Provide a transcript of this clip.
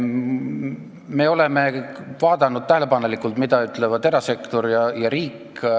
Me oleme tähelepanelikult vaadanud, mida ütlevad erasektor ja riik.